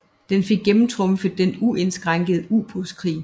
Den fik gennemtrumfet den uindskrænkede ubådskrig